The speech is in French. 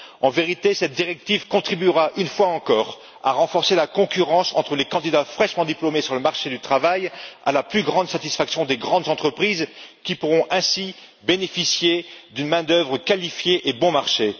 En vérité, cette directive contribuera, une fois encore, à renforcer la concurrence entre les candidats fraîchement diplômés sur le marché du travail, à la plus grande satisfaction des grandes entreprises qui pourront ainsi bénéficier d'une main d'œuvre qualifiée et bon marché.